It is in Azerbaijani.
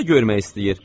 O da görmək istəyir.